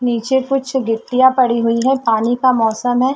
नीचे कुछ गिट्टीयाँ पढ़ी हुई है पानी का मौसम हैं।